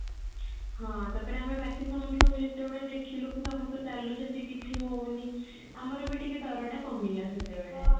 ହଁ ତାପରେ ଆମେ ବାକି ସମସ୍ତଙ୍କୁ ଯେତେବେଳେ ଦେଖିଲୁ କି ସମସ୍ତେ ଚାଲୁଛନ୍ତି କିଛି ହଉନି ଆମର ବି ଟିକେ ଡର ଟା କମିଲା ସେତେବେଳେ